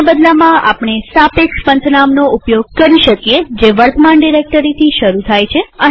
તેના બદલામાં આપણે સાપેક્ષરીલેટીવ પંથનામ ઉપયોગ કરી શકીએ જે વર્તમાન ડિરેક્ટરીથી શરુ થાય છે